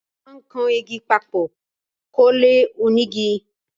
Wón máà ń kan igi papò kólé onígi